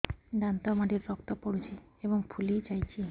ଦାନ୍ତ ମାଢ଼ିରୁ ରକ୍ତ ପଡୁଛୁ ଏବଂ ଫୁଲି ଯାଇଛି